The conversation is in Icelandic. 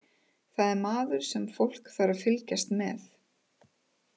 Það er maður sem fólk þarf að fylgjast með.